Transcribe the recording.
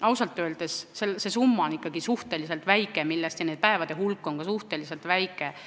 Ausalt öeldes on see summa ikkagi suhteliselt väike ja päevade hulk on ka suhteliselt väike.